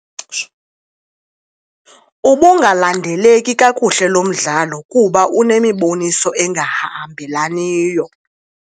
Ubungalandeleki kakuhle lo mdlalo kuba unemiboniso engahambelaniyo.